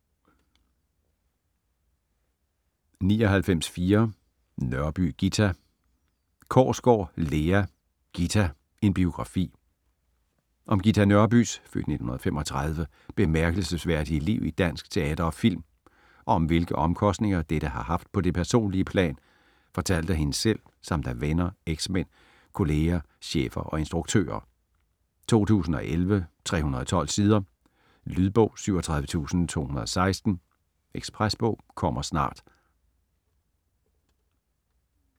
99.4 Nørby, Ghita Korsgaard, Lea: Ghita: en biografi Om Ghita Nørbys (f. 1935) bemærkelsesværdige liv i dansk teater og film, og om hvilke omkostninger dette har haft på det personlige plan, fortalt af hende selv, samt af venner, eksmænd, kollegaer, chefer og instruktører. 2011, 312 sider. Lydbog 37216 Ekspresbog - kommer snart